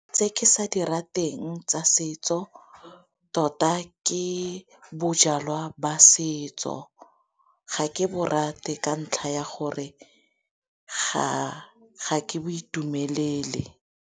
Tse ke sa dira teng tsa setso tota ke bojalwa ba setso ga ke bo rate ka ntlha ya gore ga ke bo itumelele.